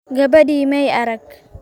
Gabadhii may arag